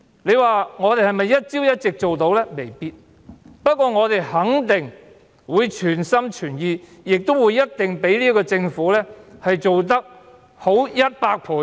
雖然我們未必能一朝一夕做到，但我們肯定會全心全意，相比這個政府做得好百倍。